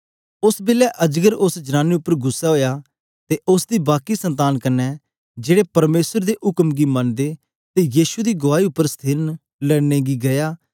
ओस बेलै अजगर उस्स जनानी उपर गुस्सै ओया ते उस्स दी बाकी संतान कन्ने जेड़े परमेसर दी उक्म गी मनदे ते यीशु दी गुआई देने उपर स्थिर न लड़ने गी गीया